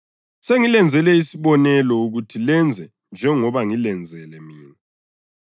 Sengilenzele isibonelo ukuthi lenze njengoba ngilenzele mina.